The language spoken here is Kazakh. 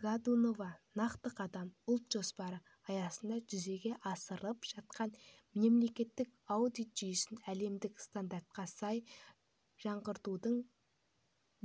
годунова нақты қадам ұлт жоспары аясында жүзеге асырылып жатқан мемлекеттік аудит жүйесін әлемдік стандарттарға сай жаңғыртудың